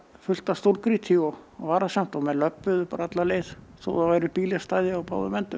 fullt af stórgrýti og varasamt og menn löbbuðu alla leið þó það væru bílastæði á báðum endum